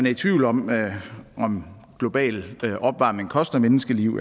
i tvivl om om global opvarmning koster menneskeliv